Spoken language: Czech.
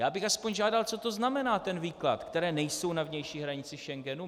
Já bych aspoň žádal, co to znamená, ten výklad, které nejsou na vnější hranici Schengenu.